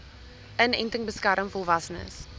inenting beskerm volwassenes